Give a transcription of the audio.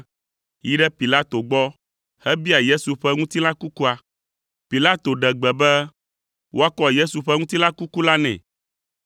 yi ɖe Pilato gbɔ hebia Yesu ƒe ŋutilã kukua. Pilato ɖe gbe be woakɔ Yesu ƒe ŋutilã kuku la nɛ.